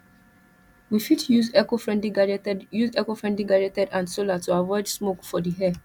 we fit use ecofriendly gadgetd use ecofriendly gadgets and solar to avoid smoke for the air